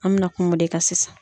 An bɛ na kuma o de kan sisan.